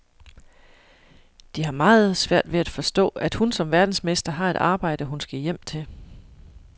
De har meget svært ved at forstå, at hun som verdensmester har et arbejde, hun skal hjem til.